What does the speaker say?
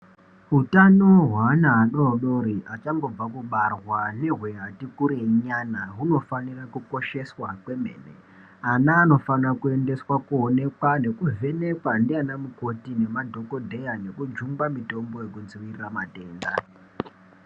Utano hwaana adori-dori achangobva kubarwa nehweati kurei nyana hunofanira kukosheswa kwemene. Ana anofanira kuendeswa koonekwa nekuvhenekwa ndianamukoti ngemadhokoteya ngekujungwa mitombo yekudziirira matenda.